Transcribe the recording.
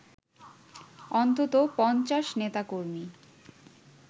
অন্তত ৫০ নেতাকর্মী